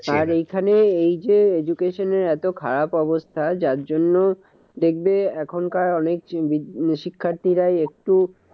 আর এখানে এই যে education এর এত খারাপ অবস্থা, যার জন্য দেখবে এখনকার অনেক শিক্ষার্থীরা একটু